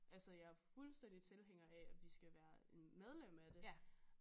Altså jeg er fuldstændig tilhænger af at vi skal være medlem af det